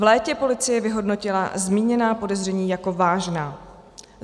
V létě policie vyhodnotila zmíněná podezření jako vážná.